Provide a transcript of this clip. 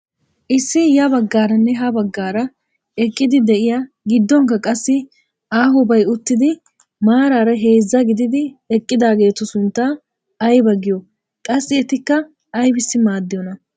Issi ya baggaaranne ha baggaara eqqidi de'iyaa gidduwaanikka qassi aahobay uttidi maarara heezzaa gididi eqqidaagetu sunttaa aybaa giyoo? qassi etikka aybissi maaddiyoonaa?